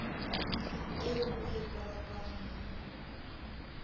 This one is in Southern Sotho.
eo o e kolotwang ho